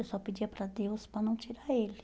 Eu só pedia para Deus para não tirar ele.